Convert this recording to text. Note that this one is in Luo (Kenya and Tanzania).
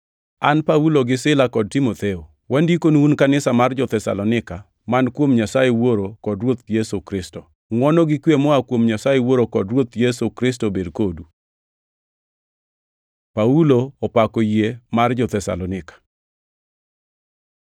An Paulo gi Sila kod Timotheo, Wandikonu un kanisa mar jo-Thesalonika, man kuom Nyasaye Wuoro kod Ruoth Yesu Kristo: Ngʼwono gi kwe moa kuom Nyasaye Wuoro kod Ruoth Yesu Kristo obed kodu. Paulo opako yie mar jo-Thesalonika